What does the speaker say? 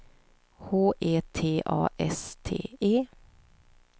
H E T A S T E